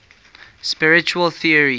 spiritual theories